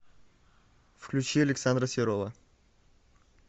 включи александра серова